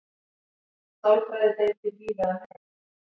sálfræðideildir víða um heim